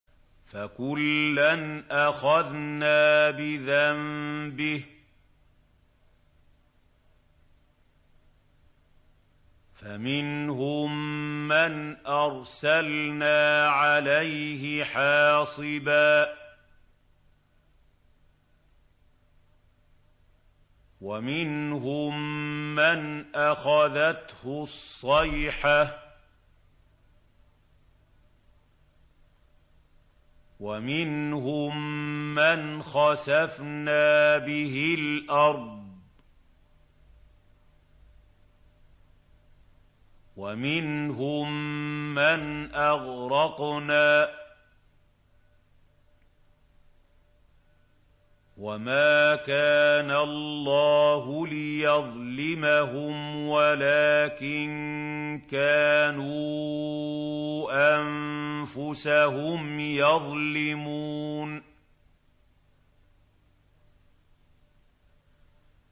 فَكُلًّا أَخَذْنَا بِذَنبِهِ ۖ فَمِنْهُم مَّنْ أَرْسَلْنَا عَلَيْهِ حَاصِبًا وَمِنْهُم مَّنْ أَخَذَتْهُ الصَّيْحَةُ وَمِنْهُم مَّنْ خَسَفْنَا بِهِ الْأَرْضَ وَمِنْهُم مَّنْ أَغْرَقْنَا ۚ وَمَا كَانَ اللَّهُ لِيَظْلِمَهُمْ وَلَٰكِن كَانُوا أَنفُسَهُمْ يَظْلِمُونَ